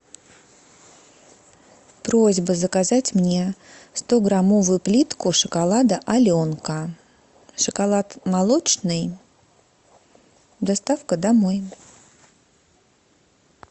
просьба заказать мне стограммовую плитку шоколада аленка шоколад молочный доставка домой